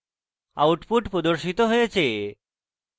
output প্রদর্শিত হয়েছে